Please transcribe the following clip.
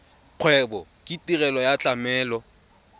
kgwebo ke tirelo ya tlamelo